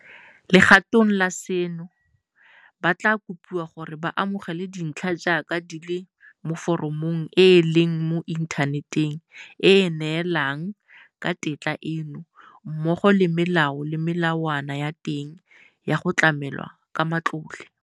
Legatong la seno, ba tla kopiwa gore ba amogele dintlha jaaka di le mo foromong e e leng mo inthaneteng e e neelanang ka tetla eno, mmogo le melao le melawana ya teng ya go tlamelwa ka matlole.